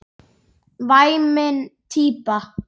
Væmin típa.